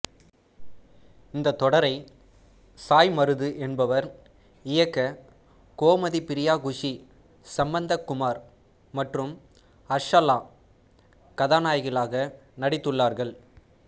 இந்த தொடரை சாய் மருது என்பவர் இயக்க கோமதி பிரியா குஷி சம்பந்த குமார் மற்றும் ஹர்ஷாலா கதாநாயகிகளாக நடித்துள்ளார்கள்